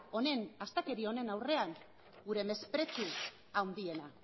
honen aurrean gure mesprezu handiena